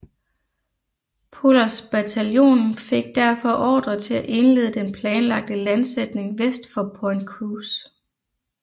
Pullers bataljon fik derfor ordre til at indlede den planlagte landsætning vest for Point Cruz